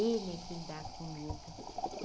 Ele é quem dá comida.